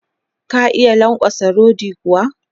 Ka iya lankwatsa rodi kuwa?